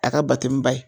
A ka bate ni ba ye